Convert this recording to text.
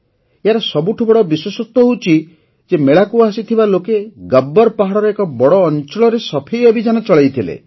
ଏହାର ସବୁଠୁ ବଡ଼ ବିଶେଷତ୍ୱ ହେଲା ଯେ ମେଳାକୁ ଆସିଥିବା ଲୋକେ ଗବ୍ବର ପାହାଡ଼ର ଏକ ବଡ଼ ଅଞ୍ଚଳରେ ସଫେଇ ଅଭିଯାନ ଚଳାଇଥିଲେ